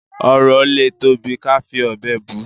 ọrọ ọ lè tóbi ká fí òbé bù